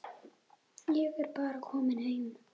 Ég er bara kominn heim.